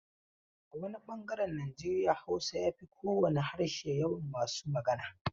A wani bangaren Nijeriya Hausa ya fi kowane harshe yawan masu magana.